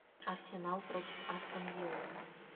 арсенал против астон виллы